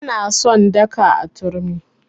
Ba na son daka a turmi.